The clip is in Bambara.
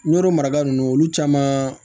Yɔrɔ maraga nunnu olu caman